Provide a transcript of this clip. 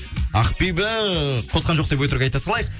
ақбибі қосқан жоқ деп өтірік айта салайық